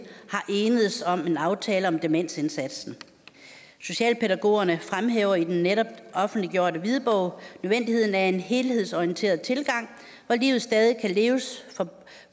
er enedes om en aftale om demensindsatsen socialpædagogerne fremhæver i den netop offentliggjorte hvidbog nødvendigheden af en helhedsorienteret tilgang hvor livet stadig kan leves